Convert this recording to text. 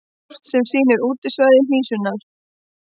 Kort sem sýnir útbreiðslusvæði hnísunnar.